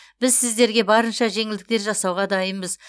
біз сіздерге барынша жеңілдіктер жасауға дайынбыз